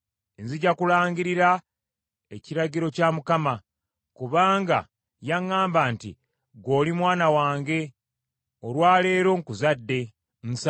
Nzija kulangirira ekiragiro kya Mukama : kubanga yaŋŋamba nti, “Ggwe oli Mwana wange, olwa leero nfuuse kitaawo.